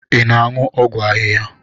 Ị na-aṅụ ọgwụ ahịhịa?